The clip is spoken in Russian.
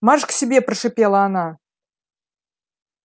марш к себе прошипела она